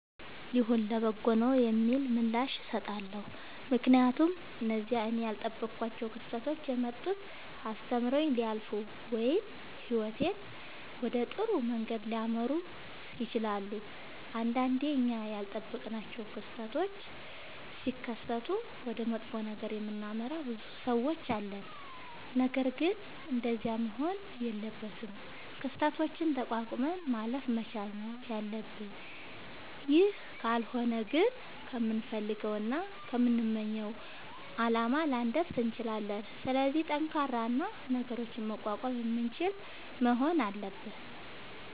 ይሁን ለበጎ ነዉ የሚል ምላሽ እሠጣለሁ። ምክንያቱም እነዚያ እኔ ያልጠበኳቸዉ ክስተቶች የመጡት አስተምረዉኝ ሊያልፉ ወይም ህይወቴን ወደ ጥሩ መንገድ ሊመሩት ይችላሉ። ንዳንዴ እኛ ያልጠበቅናቸዉ ክስተቶች ሢከሠቱ ወደ መጥፎ ነገር የምናመራ ብዙ ሠዎች አለን። ነገርግን እንደዚያ መሆን የለበትም። ክስተቶችን ተቋቁመን ማለፍ መቻል ነዉ ያለብን ይህ ካልሆነ ግን ከምንፈልገዉና ከምንመኘዉ አላማ ላንደርስ እንችላለን። ስለዚህ ጠንካራ እና ነገሮችን መቋቋም የምንችል መሆን አለብን።